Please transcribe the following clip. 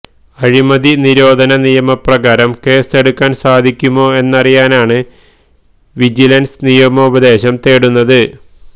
അഴിമതി നിരോധന നിയമപ്രകാരം കേസ് എടുക്കാന് സാധിക്കുമൊ എന്നറിയനാണ് വിജിലന്സ് നിയമോപദേശം തേടുന്നത്